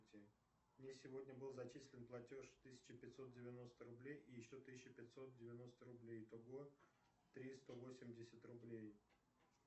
мне сегодня был зачислен платеж тысяча пятьсот девяносто рублей и еще тысяча пятьсот девяносто рублей итого три сто восемьдесят рублей